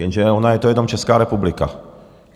Jenže ona je to jenom Česká republika.